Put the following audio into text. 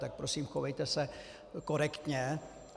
Tak prosím, chovejte se korektně.